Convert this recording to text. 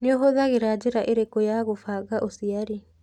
Nĩũhuthagĩra njĩra ĩrĩkũ ya gũbanga ũciari.